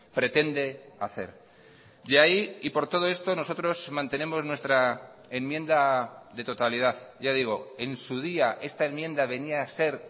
pretende hacer de ahí y por todo esto nosotros mantenemos nuestra enmienda de totalidad ya digo en su día esta enmienda venía a ser